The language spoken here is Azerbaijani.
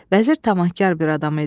Vəzir tamahkar bir adam idi.